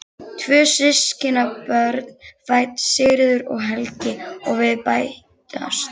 Tvö systkinabörn fædd, Sigríður og Helgi, og við bætast